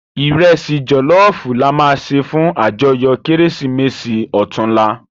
Irèsi jòlòfú làmá sé fún àjòyò Kérésimési òtúnlá